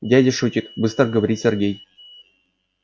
дядя шутит быстро говорит сергей